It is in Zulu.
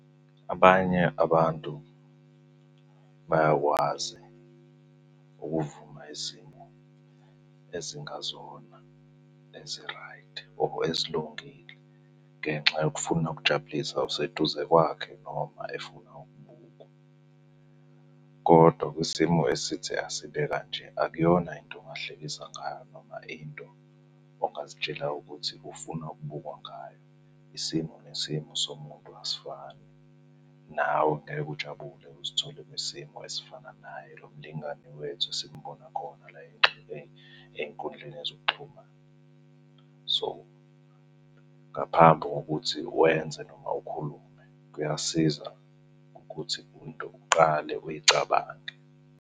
Abanye abantu bayakwazi ukuvuma izimo ezingazona eziraydi or ezilungile ngenxa yokufuna ukujabulisa oseduze kwakhe noma efuna ukubukwa, kodwa kwisimo esithi asibe kanje akuyona into ongahlekisa ngayo noma into ongazitshela ukuthi ufuna ukubukwa ngayo. Isimo nesimo somuntu asifani, nawe ngeke ujabule uzithole kwisimo esifana naye lo mlingani wethu esimubona khona la ey'nkundleni zokuxhumana. So ngaphambi kokuthi wenze noma ukhulume, kuyasiza ukuthi into uqale uyicabange.